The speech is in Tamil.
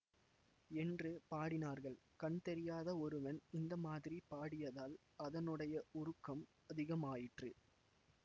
என்று பாடினார்கள் கண் தெரியாத ஒருவன் இந்த மாதிரி பாடியதால் அதனுடைய உருக்கம் அதிகமாயிற்று